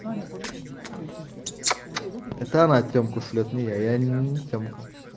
саня погоди давай там кушает меня не тем